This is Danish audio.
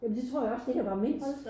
Jamen det tror jeg også det her var mindst